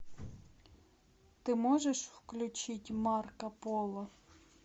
ты можешь включить марко поло